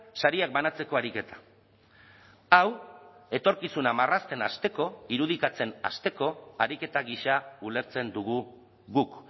sariak banatzeko ariketa hau etorkizuna marrazten hasteko irudikatzen hasteko ariketa gisa ulertzen dugu guk